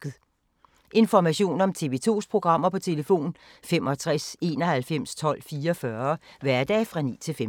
Information om TV 2's programmer: 65 91 12 44, hverdage 9-15.